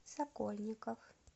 сокольников